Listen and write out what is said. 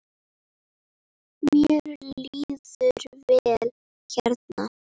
Mér líður vel hérna.